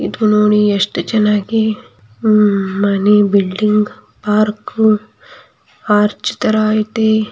ಇದು ನೋಡಿ ಎಷ್ಟು ಚೆನ್ನಗಿ ಆಹ್ಹ್ ಮಣಿ ಬಿಲ್ಡಿಂಗ್ ಪಾರ್ಕ್ ಆರ್ಚ್ ತರ ಐತಿ .